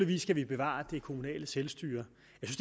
vi skal bevare det kommunale selvstyre